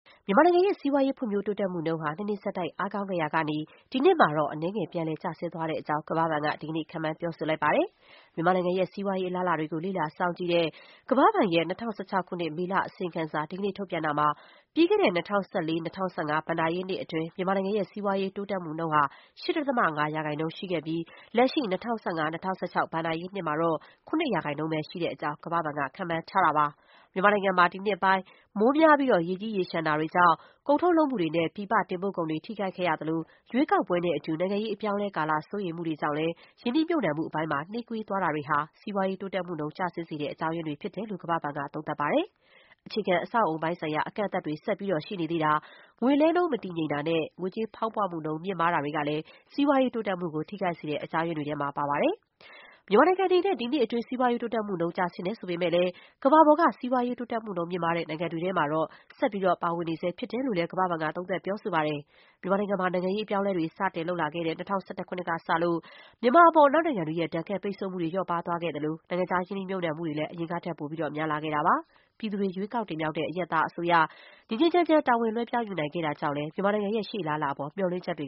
မြန်မာနိုင်ငံရဲ့ စီးပွားရေးဖွံ့ဖြိုးတိုးတက်မှုနှုန်းဟာ ၂ နှစ်ဆက်တိုက် အားကောင်းခဲ့ရာကနေ ဒီနှစ်မှာတော့ အနည်းငယ် ပြန်လည် ကျဆင်းသွားတဲ့အကြောင်း ကမ္ဘာ့ဘဏ်က ဒီကနေ့ ခန့်မှန်းပြောဆိုလိုက်ပါတယ်။ မြန်မာနိုင်ငံရဲ့ စီးပွားရေးအလားအလာတွေကို လေ့လာစောင့်ကြည့်တဲ့ ကမ္ဘာ့ဘဏ်ရဲ့ ၂၀၁၆ ခုနှစ် မေလ အစီရင်ခံစာ ဒီကနေ့ထုတ်ပြန်တာမှာ ပြီးခဲ့တဲ့ ၂၀၁၄-၂၀၁၅ ဘဏ္ဍာရေးနှစ်အတွင်း မြန်မာနိုင်ငံရဲ့ စီးပွားရေး တိုးတက်မှုနှုန်းဟာ ၈.၅ ရာခိုင်နှုန်း ရှိခဲ့ပြီး လက်ရှိ ၂၀၁၅-၂၀၁၆ ဘဏ္ဍာရေးနှစ်မှာတော့ ၇ ရာခိုင်နှုန်းပဲ ရှိတဲ့အကြောင်း ကမ္ဘာ့ဘဏ်က ခန့်မှန်းထားတာပါ။ မြန်မာနိုင်ငံမှာ ဒီနှစ်ပိုင်း မိုးများပြီး ရေကြီးရေလျှံမှုတွေ ကြောင့် ကုန်ထုတ်လုပ်မှုတွေနဲ့ ပြည်ပ တင်ပို့ကုန်တွေ ထိခိုက်ခဲ့ရသလို၊ ရွေးကောက်ပွဲနဲ့အတူ နိုင်ငံရေးအပြောင်းအလဲကာလ စိုးရိမ်မှုတွေကြောင့် ရင်းနှီးမြှုပ်နှံမှုပိုင်းမှာ နှေးကွေးသွားတာတွေဟာ စီးပွားရေး တိုးတက်မှုနှုန်း ကျဆင်းစေတဲ့ အကြောင်းရင်းတွေ ဖြစ်တယ်လို့ ကမ္ဘာ့ဘဏ်က သုံးသပ်ပါတယ်။ အခြေခံအဆောက်အအုံပိုင်းဆိုင်ရာ အကန့်အသတ်တွေ ဆက်ပြီးရှိနေသေးတာ၊ ငွေလဲနှုန်း မတည်ငြိမ်တာနဲ့ ငွေကြေးဖောင်းပွမှုနှုန်း မြင့်မား တာတွေကလည်း စီးပွားရေး တိုးတက်မှုကို ထိခိုက်စေတဲ့ အကြောင်းရင်းတွေထဲမှာ ပါဝင်ပါတယ်။ မြန်မာနိုင်ငံအနေနဲ့ ဒီနှစ်အတွင်း စီးပွားရေး တိုးတက်မှုနှုန်း ကျဆင်းတယ်ဆိုပေမဲ့လည်း ကမ္ဘာပေါ်က စီးပွားရေး တိုးတက်မှုနှုန်း မြင့်မားတဲ့နိုင်ငံတွေထဲ မှာတော့ မြန်မာနိုင်ငံ ပါဝင်နေဆဲဖြစ်တယ်လို့လည်း ကမ္ဘာ့ဘဏ်က သုံးသပ်ပြောဆိုပါတယ်။ မြန်မာနိုင်ငံမှာ နိုင်ငံရေးအပြောင်းအလဲတွေ စတင်ရှိလာခဲ့တဲ့ ၂၀၁၁ ခုနှစ်ကစလို့ မြန်မာအပေါ် အနောက်နိုင်ငံတွေရဲ့ ဒဏ်ခတ်ပိတ်ဆို့မှုတွေ လျော့ပါးသွားခဲ့သလို၊ နိုင်ငံခြားရင်းနှီးမြှုပ်နှံမှုတွေလည်း အရင်ထက် ပိုပြီးများလာခဲ့ပါတယ်။ ပြည်သူတွေ ရွေးကောက်တင်မြှောက်တဲ့ အရပ်သားအစိုးရ ငြိမ်းငြိမ်းချမ်းချမ်း တာဝန်လွှဲပြောင်း ယူနိုင်ခဲ့တာကြောင့် လည်း မြန်မာနိုင်ငံရဲ့ ရှေ့အလားအလာအပေါ် မျှော်လင့်ချက်တွေ